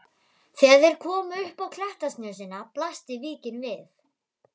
Þegar þeir komu upp á klettasnösina blasti víkin við.